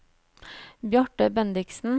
Bjarte Bendiksen